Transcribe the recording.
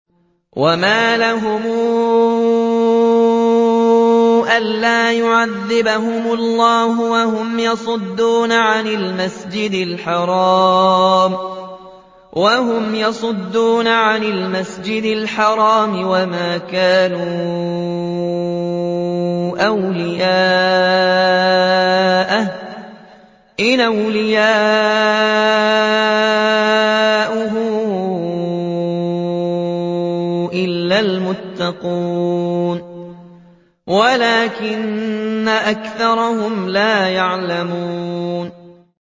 وَمَا لَهُمْ أَلَّا يُعَذِّبَهُمُ اللَّهُ وَهُمْ يَصُدُّونَ عَنِ الْمَسْجِدِ الْحَرَامِ وَمَا كَانُوا أَوْلِيَاءَهُ ۚ إِنْ أَوْلِيَاؤُهُ إِلَّا الْمُتَّقُونَ وَلَٰكِنَّ أَكْثَرَهُمْ لَا يَعْلَمُونَ